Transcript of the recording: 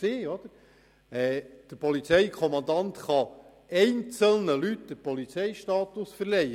Der Polizeikommandant kann einzelnen Leuten den Polizeistatus verleihen.